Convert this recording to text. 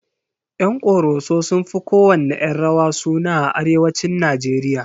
Yan ƙoroso sun fi kowanne 'yan rawa suna a arewacin Najeriya.